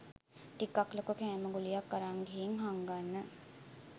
ටිකක් ලොකු කෑම ගුලියක් අරන් ගිහින් හංගන්න